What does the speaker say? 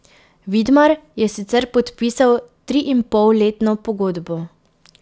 Vidmar je sicer podpisal triinpolletno pogodbo.